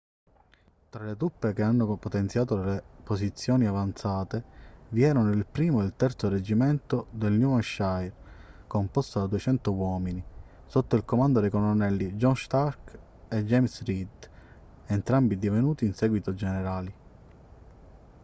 tra le truppe che hanno potenziato le posizioni avanzate vi erano il 1° e il 3° reggimento del new hampshire composto da 200 uomini sotto il comando dei colonnelli john stark e james reed entrambi divenuti in seguito generali